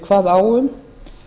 kvað á um